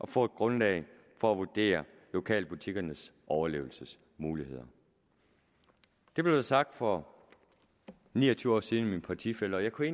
få et grundlag for at vurdere lokalbutikkernes overlevelsesmuligheder det blev sagt for ni og tyve år siden af min partifælle og jeg kunne